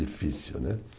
Difícil, não é?